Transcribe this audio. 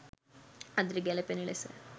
අදට ගැලපෙන ලෙස